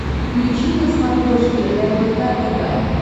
включи на смотрешке рбк тв